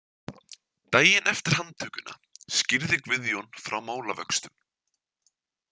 Daginn eftir handtökuna skýrði Guðjón frá málavöxtum.